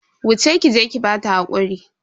Wuce ki je ki bata hakuri.